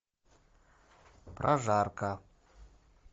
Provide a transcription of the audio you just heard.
прожарка